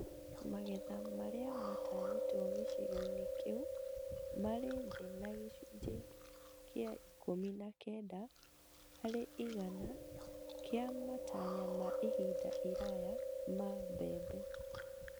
Magetha marĩa matanyĩtwo gĩcigo-inĩ kĩu marĩ thĩ na gĩcunjĩ kĩa ikũmi na kenda harĩ igana kĩa matanya ma ihinda iraya ma mbembe